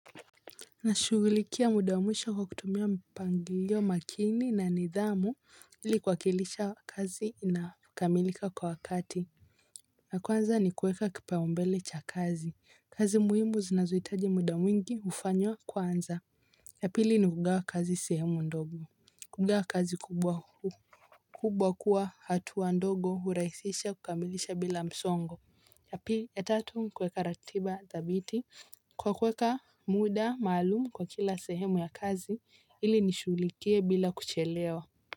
Nashughulikia muda mwisha kwa kutumia mpangilio makini na nidhamu ili kuwakilisha kazi inakamilika kwa wakati. Na kwanza nikuweka kipaumbele cha kazi. Kazi muhimu zinazohitaji muda mwingi hufanywa kwanza. Ya pili ni kugawa kazi sehemu ndogo kugawa kazi kubwa huu kubwa kwa hatua ndogo hurahisisha kukamilisha bila msongo ya tatu kuweka ratiba dhabiti kwa kuweka muda maalumu kwa kila sehemu ya kazi ili nishughulikie bila kuchelewa.